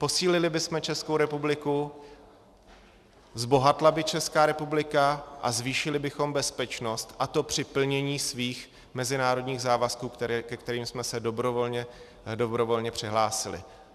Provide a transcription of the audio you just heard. Posílili bychom Českou republiku, zbohatla by Česká republika a zvýšili bychom bezpečnost, a to při plnění svých mezinárodních závazků, ke kterým jsme se dobrovolně přihlásili.